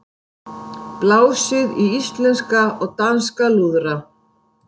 Blásið í íslenska og danska lúðra